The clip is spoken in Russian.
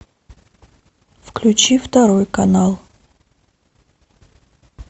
включи второй канал